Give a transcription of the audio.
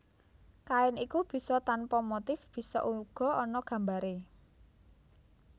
Kain iku bisa tanpa motif bisa uga ana gambaré